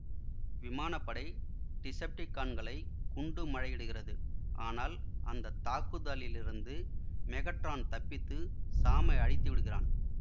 விமான படை டிசெப்டிகான்களை குண்டு மழையிடுகிறது ஆனால் அந்த தாக்குதலிலிருந்து மெகட்ரான் தப்பித்து சாமை அழித்து விடுகிறான்